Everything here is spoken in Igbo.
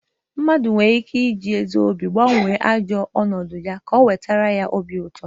Mmadu nwere ike iji ezi obi gbanwo ajo onodu ya ka o wetara ya ihe obiuto.